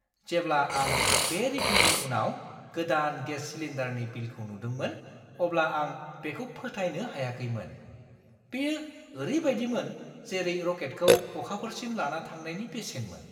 जेब्ला आं बे रिफिलनि उनाव गोदान गेस सिलिन्डारनि बिलखौ नुदोंमोन अब्ला आं बेखौ फोथायनो हायाखैमोन। बेयो ओरैबादिमोन जेरै रकेटखौ अखाफोरसिम लाना थांनायनि बेसेनमोन।